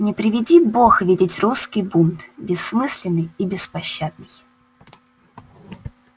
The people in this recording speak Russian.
не приведи бог видеть русский бунт бессмысленный и беспощадный